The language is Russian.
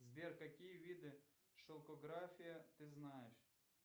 сбер какие виды шелкография ты знаешь